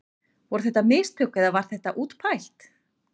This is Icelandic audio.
Voru þetta mistök eða var þetta útpælt?